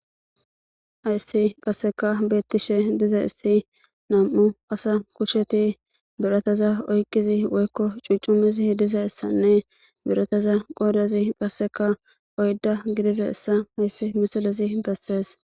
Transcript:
ayssi qasseka beettishe diza issi nam7u asa kusheti biroteza oyqizi woykko cucumizi hdiza issanne biroteza qoodezi qasseka oydda gidiza issa hayssi misilezi bessees